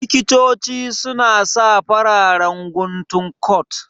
Likitoci su na sa fararen guntun kot